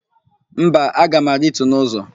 Mba, aga m arịtu n'ụzọ.